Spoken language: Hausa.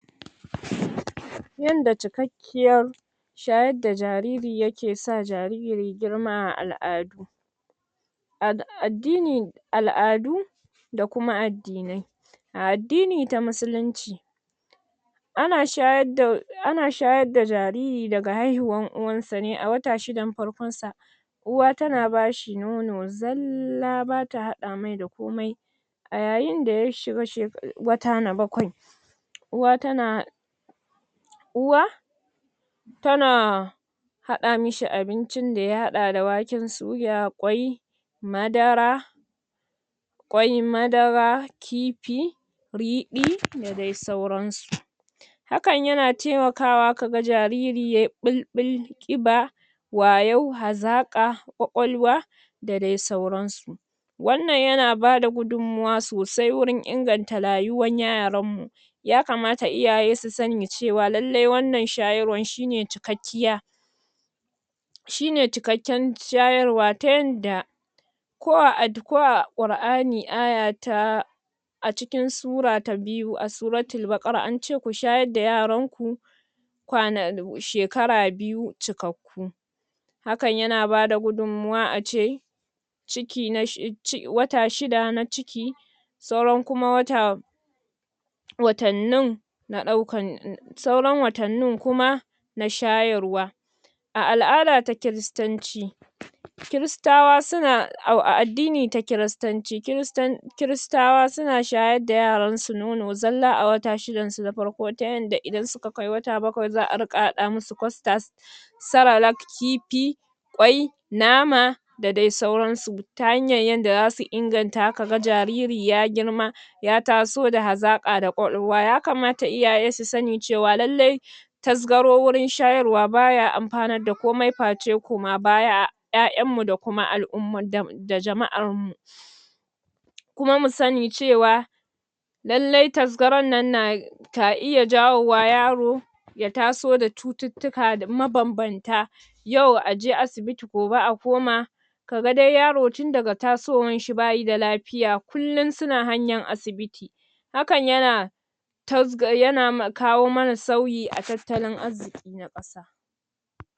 ? Yanda cikak kiyar shayar da jariri ya ke sa jariri girma a al'adu. a addini, al'adu da kuma ad dinai. A addini ta Musulunci, ana shayar da ana shayar da jariri daga haihuwar uwarsa ne a wata 6 farkon sa, uwa ta na ba shi nono zalla, ba ta haɗa mai da komai, a yayin da ya shiga wata na 7 uwa tana uwa ta na haɗa mishi abincin da ya haɗa da waken suya, ƙwai, madara, ƙwai, madara, riɗi da dai sauransu. hakan yana taimakawa ka ga jariri ya yi ɓulɓul, ƙiba, wayau, hazaƙa, ƙwaƙwalwa da dai sauransu. Wannan yana bada gudummawa sosai wajen inganta rayuwar yaran mu, ya kamata iyaye su sani cewa, lalle wannan shayarwar shi ne cikakkiya, shine cikakken shayarwa ta yanda ko a ad ko a Qur'ani aya ta a cikin sura ta biyu a Suratul Baqarah an ce ku shayar da yaran ku kwana shekara 2 cikakku hakan yana bada gudummawa a ce ciki na wata 6 na ciki sauran kuma wata na ɗaukan sauran watannin kuma na shayarwa. A al'ada ta Kiristanci, Kiristawa suna, au a addini ta Kiristanci Kiristan Kiristawa suna shayar da yaran su nono zalla a wata 6 na farko ta yarda idan suka kai wata 7 za a riƙa haɗa musu custard cerelac kifi ƙwai nama da dai sauransu. ta hanyar yadda za su inganta, ka ga jariri ya girma ya taso da hazaƙa da ƙwaƙwalwa, ya kamata iyaye su sani cewa lalle tasgaro wurin shayarwa ba ya amfanar da komai face koma baya a 'ya'yan mu da kuma al-ummar da jama'ar mu da jama'ar mu kuma mu sani cewa lalle tasgaron nan na ka iya jawo wa yaro ya taso da cututtuka mabambanta yau a je asibiti gobe a koma ka ga dai yaro tun daga tasowar shi ba shi da lafi ya kullum suna hanyar asibiti. Hakan yana tasga, yana kawo mana sauyi a tattalin arziki na ƙasa.